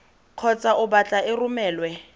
kgotsa o batla e romelwe